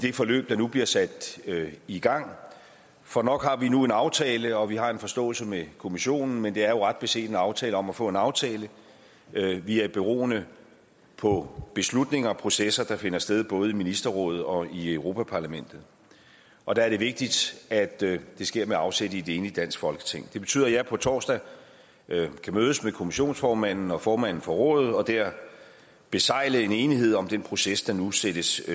det forløb der nu bliver sat i gang for nok har vi nu en aftale og vi har en forståelse med kommissionen men det er jo ret beset en aftale om at få en aftale vi er beroende på beslutninger og processer der finder sted både i ministerrådet og i europa parlamentet og der er det vigtigt at det sker med afsæt i et enigt dansk folketing det betyder at jeg på torsdag kan mødes med kommissionsformanden og formanden for rådet og der besegle en enighed om den proces der nu sættes